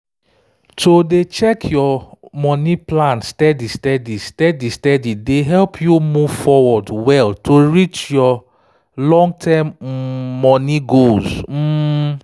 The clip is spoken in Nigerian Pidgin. to dey check your money plan steady-steady steady-steady dey help you move forward well to reach your long-term um money goals um